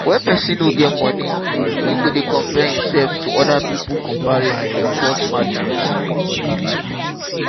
when person no get money im go dey compare im self to oda pipo comparison dey cause sadness